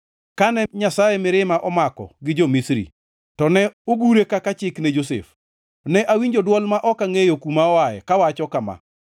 Kane Nyasaye mirima omako gi jo-Misri, to ne ogure kaka chik ne Josef. Ne awinjo dwol ma ok angʼeyo kuma oaye kawacho kama: